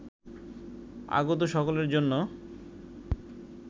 আগত সকলের জন্য